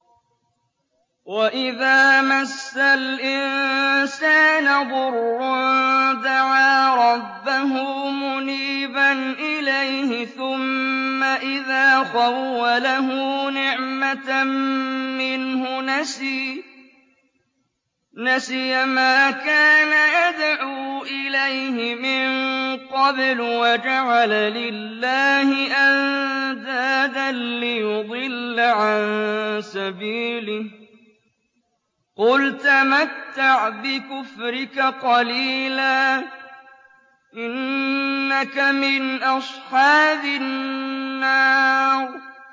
۞ وَإِذَا مَسَّ الْإِنسَانَ ضُرٌّ دَعَا رَبَّهُ مُنِيبًا إِلَيْهِ ثُمَّ إِذَا خَوَّلَهُ نِعْمَةً مِّنْهُ نَسِيَ مَا كَانَ يَدْعُو إِلَيْهِ مِن قَبْلُ وَجَعَلَ لِلَّهِ أَندَادًا لِّيُضِلَّ عَن سَبِيلِهِ ۚ قُلْ تَمَتَّعْ بِكُفْرِكَ قَلِيلًا ۖ إِنَّكَ مِنْ أَصْحَابِ النَّارِ